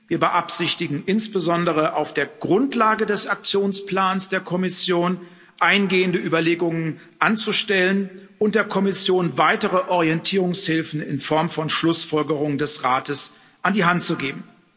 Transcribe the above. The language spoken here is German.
Wir beabsichtigen insbesondere, auf der Grundlage des Aktionsplans der Kommission eingehende Überlegungen anzustellen und der Kommission weitere Orientierungshilfen in Form von Schlussfolgerungen des Rates an die Hand zu geben.